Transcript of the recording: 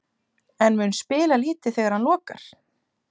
En mun spila lítið þegar hann lokar?